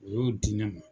U y'o di ne ma